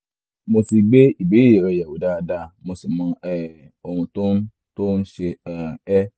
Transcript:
mo ti gbé ìbéèrè rẹ yẹ̀wò dáadáa mo sì mọ um ohun tó ń tó ń ṣe um ẹ́